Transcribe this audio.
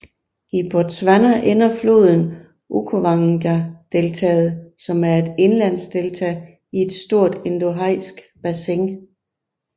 I Botswana ender floden i Okavangodeltaet som er et indlandsdelta i et stort endorheisk bassin